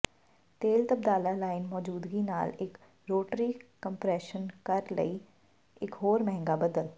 ਤੇਲ ਤਬਾਦਲਾ ਲਾਈਨ ਮੌਜੂਦਗੀ ਨਾਲ ਇੱਕ ਰੋਟਰੀ ਕੰਪ੍ਰੈਸ਼ਰ ਕਰਨ ਲਈ ਇੱਕ ਹੋਰ ਮਹਿੰਗਾ ਬਦਲ